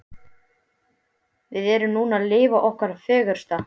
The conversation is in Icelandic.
Við erum núna að lifa okkar fegursta.